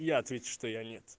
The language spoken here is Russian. я отвечу что я нет